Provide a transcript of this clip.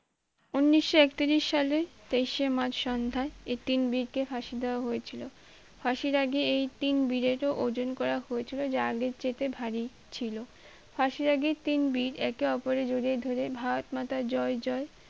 উন্নিশ একত্রিশ সালে তেইশে মার্চ সন্ধ্যায় এই তিন বীরকে ফাঁসি দেওয়া হয়েছিল ফাঁসির আগে এই তিন বীরেরও ওজন করা হয়েছিল যা আগের চাইতে ভারী ছিল ফাঁসির আগে তিন বীর একে ওপরে জরিয়ে ধরে ভারত মাতা জয় জয়